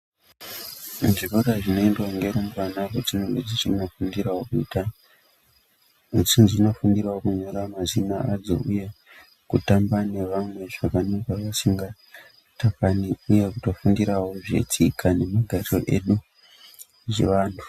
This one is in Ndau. Zvikora zvinoendwa ngerumbwana kwadzinenge dzichindofundirawo kuita. Dzichizondofundirawo kunyora mazina adzo uye kutamba nevamwe zvakanaka vasingatakani. Uye kutofundirawo zvetsika nemagariro edu zvechiantu.